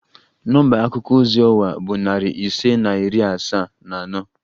Nọmba akuko ozi ọwa bụ narị ise na iri asaa na anọ